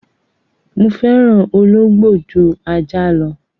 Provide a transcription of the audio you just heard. Mo fẹ́ràn Ológbò jú Ajá lọ.